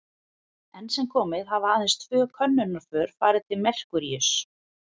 Enn sem komið er hafa aðeins tvö könnunarför farið til Merkúríuss.